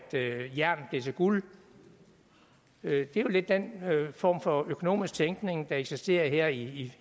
jern blev til guld det er jo lidt den form for økonomisk tænkning der eksisterer her i